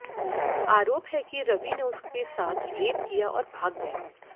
आरोप है कि रवि ने उसके साथ रेप किया और भाग गया